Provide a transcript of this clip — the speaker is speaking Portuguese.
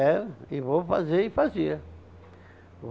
Era, e vou fazer e fazia.